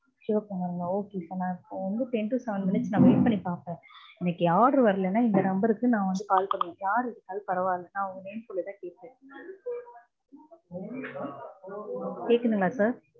சிவக்குமாருங்களா. okay sir. நா two to seven minutes நா wait பண்ணி பாப்பேன். எனக்கு என் order வரலனா இந்த number க்கு நா வந்து call பண்ணி, யார் எடுத்தாலும் பரவால்ல. நா உங்க name சொல்லிதா கேப்பேன். கேக்குட்டுங்களா sir.